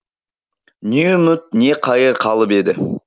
не үміт не қайыр қалып еді